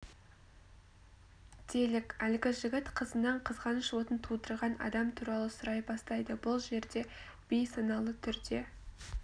делік әлгі жігіт қызынан қызғаныш отын тудырған адам туралы сұрай бастайды бұл жерде бейсаналы түрде